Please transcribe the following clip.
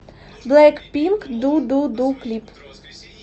блэкпинк ду ду ду клип